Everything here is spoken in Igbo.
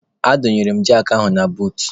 A dọnyere m jakị ahụ na buut.